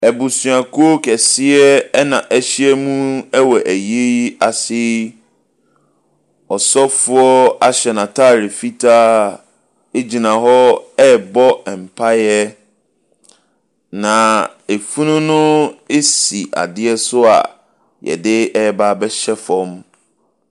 Abusuakuo kɛseɛ ɛna ɛhyia mu wɔ ayie yi ase yi. Ɔsɔfoɔ ahyɛ nataade fitaa egyina hɔ ɛrebɔ mpaeɛ. Na efunu no esi adeɛ so a yɛdebaa bɛhyɛ fam.